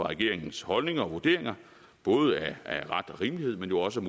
regeringens holdninger og vurderinger både af ret og rimelighed men jo også